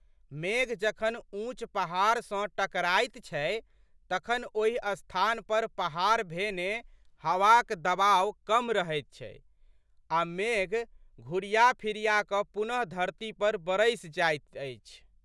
मेघ जखन ऊँच पहाड़ सँ टकराइत छै तखन ओहि स्थान पर पहाड़ भेने हवाक दबाव कम रहैत छै आ मेघ घुरिया फिरियाकऽ पुनः धरती पर बरसि जाइत अछि।